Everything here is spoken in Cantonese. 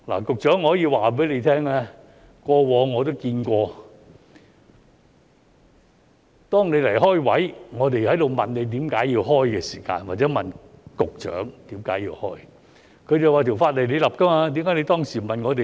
局長，我可以告訴你，過往我也看到當你擬開設職位，我們問你為何要開設時，或者問局長為何要開設，他便表示："法例是你訂立的，為何你當時不問我們呢？